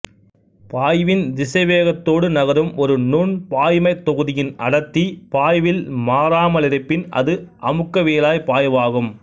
பாய்வின் திசைவேகத்தோடு நகரும் ஒரு நுண்பாய்மத்தொகுதியின் அடர்த்தி பாய்வில் மாறாமலிருப்பின் அது அமுக்கவியலாப் பாய்வாகும்